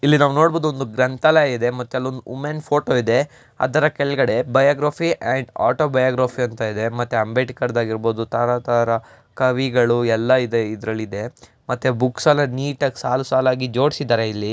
ಇಲ್ಲಿ ನಾವು ನೋಡಬಹುದು ಒಂದು ಗ್ರಂಥಾಲಯ ಇದೆ ಮತ್ತೆ ಅಲ್ಲೊಂದು ವುಮೆನ್ ಫೋಟೋ ಇದೆ ಅದರ ಕೆಳಗಡೆ ಬೈಯೋಗ್ರಾಫಿ ಅಂಡ್ ಆಟೋ ಬೈಯೋಗ್ರಾಫಿ ಅಂತ ಇದೆ ಮತ್ತೆ ಅಂಬೇಡ್ಕರ್ ಆಗಿರಬಹುದು ತರ ತರ ಕವಿಗಳು ಎಲ್ಲ ಇದೆ. ಇದರಲ್ಲಿ ಇದೆ ಮತ್ತೆ ಬುಕ್ಸ್ ಎಲ್ಲ ನೀಟಾಗಿ ಸಾಲು ಸಾಲಾಗಿ ಜೋಡಿಸಿದರೆ ಇಲ್ಲಿ.